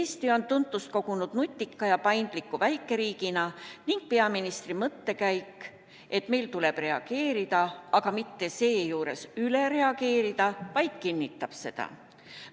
Eesti on tuntust kogunud nutika ja paindliku väikeriigina ning peaministri mõttekäik, et meil tuleb reageerida, aga seejuures mitte üle reageerida, ainult kinnitab seda.